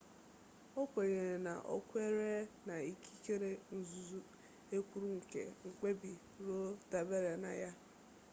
o kwenyere na o kweere na ikikere nzuzo e kwuru nke mkpebi roe dabere na ya